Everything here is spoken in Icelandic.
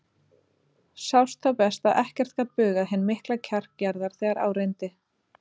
Sást þá best að ekkert gat bugað hinn mikla kjark Gerðar þegar á reyndi.